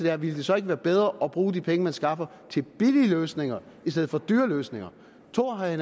her ville det så ikke være bedre at bruge de penge man skaffer til billige løsninger i stedet for dyre løsninger tror herre